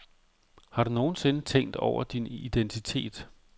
Har du nogensinde tænkt over din identitet?